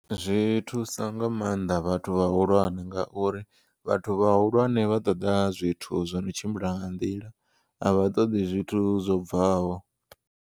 Zwi thusa nga maanḓa vhathu vhahulwane ngauri vhathu vhahulwane vha ṱoḓa zwithu zwono tshimbila nga nḓila a vha ṱoḓi zwithu zwo bvaho.